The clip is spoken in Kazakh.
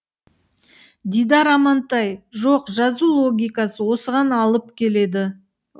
дидар амантай жоқ жазу логикасы осыған алып келді